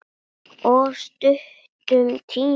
Of stuttum tíma.